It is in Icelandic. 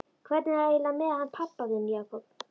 Hvernig er það eiginlega með hann pabba þinn, Jakob?